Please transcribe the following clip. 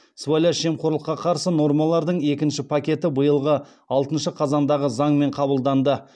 сыбайлас жемқорлыққа қарсы нормалардың екінші пакеті биылғы алтыншы қазандағы заңмен қабылданды